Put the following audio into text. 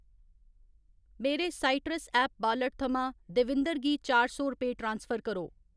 मेरे citrus app wallet थमां देविंदर गी चार सौ रपेऽ ट्रांसफर करो।